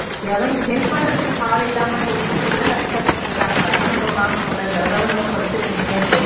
யாரு help பண்றதுக்கு ஆள் இல்லாம எவ்வளவு பேர் கஷ்டப்பட்டுட்டு இருக்காங்க அதை எல்லாம் நம்ம பார்க்கணும் இல்ல இந்த அளவுக்கு நம்ம படிச்சிருக்கம்னுட்டு